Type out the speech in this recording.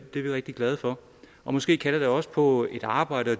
er vi rigtig glade for og måske kalder det også på et arbejde og